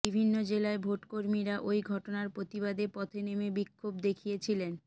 বিভিন্ন জেলায় ভোট কর্মীরা ওই ঘটনার প্রতিবাদে পথে নেমে বিক্ষোভ দেখিয়েছিলেন